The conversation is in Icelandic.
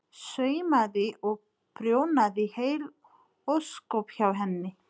Saumaði og prjónaði heil ósköp hjá henni.